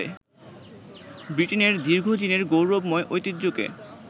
ব্রিটেনের দীর্ঘদিনের গৌরবময় ঐতিহ্যকে